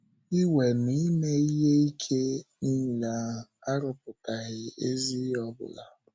“ Iwe na ime ihe ike nile ahụ, arụpụtaghị ezi ihe ọ bụla ”